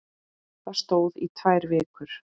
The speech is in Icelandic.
Það stóð í tvær vikur.